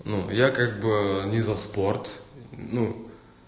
ну я как бы не за спорт ну